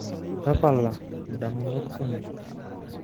Tapala ndamunot kumok.